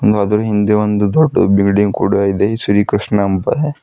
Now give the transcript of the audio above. ಒಂದ್ ಆದ್ರು ಹಿಂದೆ ಒಂದು ದೊಡ್ಡ ಬಿಲ್ಡಿಂಗ್ ಕೂಡ ಇದೆ ಶ್ರೀ ಕೃಷ್ಣ--